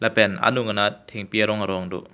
pen anung anat thengpi arong erong do.